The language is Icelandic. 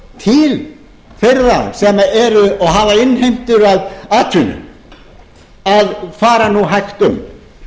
til þeirra sem eru og hafa innheimtu að atvinnu að fara nú hægt um